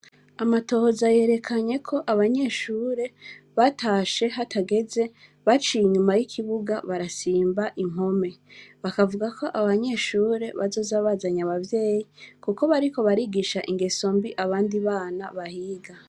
Amatohoza yerekanye ko, abanyeshure batashe hatageze, baciye inyuma y’ikibuga barasimba impome; bakavuga ko abo banyeshure bazoza bazanye abavyeyi, kuko bariko barigisha ingeso mbi abandi bana bahiga.